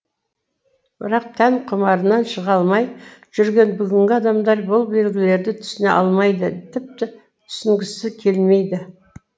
бірақ тән құмарынан шыға алмай жүрген бүгінгі адамдар бұл белгілерді түсіне алмайды тіпті түсінгісі келмейді